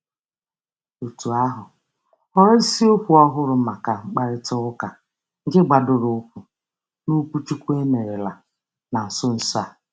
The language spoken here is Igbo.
Òtù ahụ họọrọ isiokwu ọhụrụ maka mkparịtaụka nke gbadoroụkwụ n'okwuchukwu e merela na nso nso a.